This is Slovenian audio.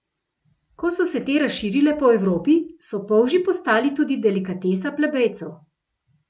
Ko so se te razširile po Evropi, so polži postali tudi delikatesa plebejcev.